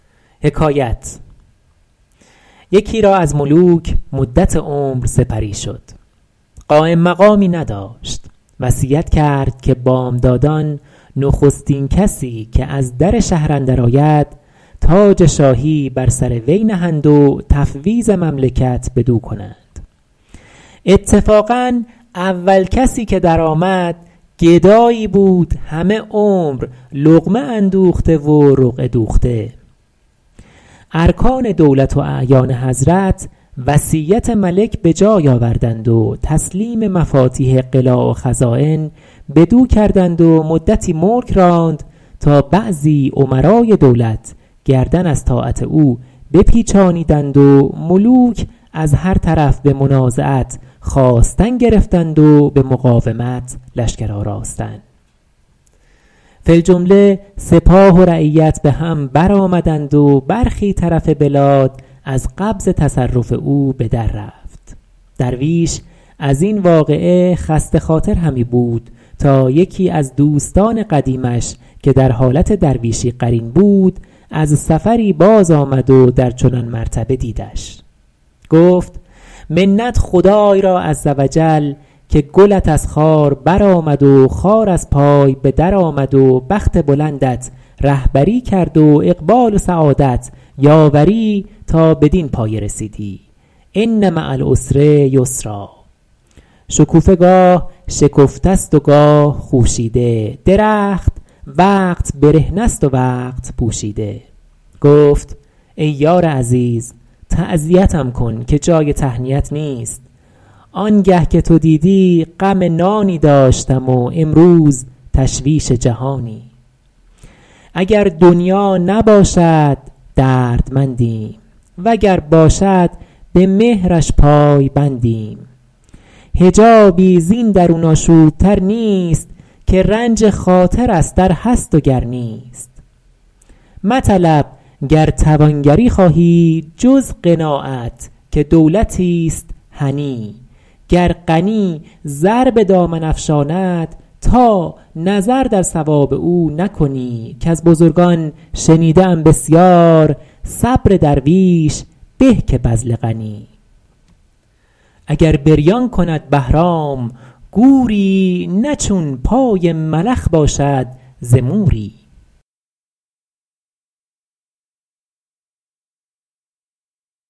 یکی را از ملوک مدت عمر سپری شد قایم مقامی نداشت وصیت کرد که بامدادان نخستین کسی که از در شهر اندر آید تاج شاهی بر سر وی نهند و تفویض مملکت بدو کنند اتفاقا اول کسی که در آمد گدایی بود همه عمر لقمه اندوخته و رقعه دوخته ارکان دولت و اعیان حضرت وصیت ملک به جای آوردند و تسلیم مفاتیح قلاع و خزاین بدو کردند و مدتی ملک راند تا بعضی امرای دولت گردن از طاعت او بپیچانیدند و ملوک از هر طرف به منازعت خاستن گرفتند و به مقاومت لشکر آراستن فی الجمله سپاه و رعیت به هم بر آمدند و برخی طرف بلاد از قبض تصرف او به در رفت درویش از این واقعه خسته خاطر همی بود تا یکی از دوستان قدیمش که در حالت درویشی قرین بود از سفری باز آمد و در چنان مرتبه دیدش گفت منت خدای را عز و جل که گلت از خار بر آمد و خار از پای به در آمد و بخت بلندت رهبری کرد و اقبال و سعادت یاوری تا بدین پایه رسیدی ان مع العسر یسرا شکوفه گاه شکفته است و گاه خوشیده درخت وقت برهنه است و وقت پوشیده گفت ای یار عزیز تعزیتم کن که جای تهنیت نیست آنگه که تو دیدی غم نانی داشتم و امروز تشویش جهانی اگر دنیا نباشد دردمندیم وگر باشد به مهرش پای بندیم حجابی زین درون آشوب تر نیست که رنج خاطر است ار هست و گر نیست مطلب گر توانگری خواهی جز قناعت که دولتیست هنی گر غنی زر به دامن افشاند تا نظر در ثواب او نکنی کز بزرگان شنیده ام بسیار صبر درویش به که بذل غنی اگر بریان کند بهرام گوری نه چون پای ملخ باشد ز موری